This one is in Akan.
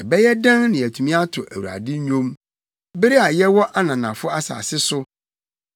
Ɛbɛyɛ dɛn na yɛatumi ato Awurade nnwom, bere a yɛwɔ ananafo asase so?